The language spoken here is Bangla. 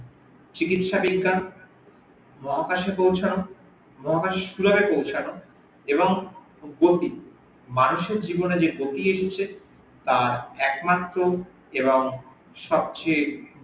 চিকিৎসা বিজ্ঞান মহাকাশে পৌঁছানো মহাকাশ চূড়ায় পৌঁছানো এবং মানুষের জীবনে যে গতি এনেছে তা একমাত্র এবং সবচেয়ে